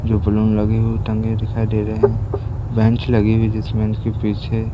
जो बलून लगे हुए टंगे दिखाई दे रहे हैं बेंच लगे हुए हैं जिस बेंच के पीछे--